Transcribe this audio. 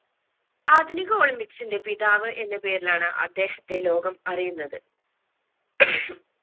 ആധുനിക olympics ന്റെ പിതാവ് എന്ന പേരിലാണ് അദ്ദേഹത്തെ ലോകം അറിയുന്നത്